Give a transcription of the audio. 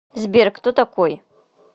сбер кто такой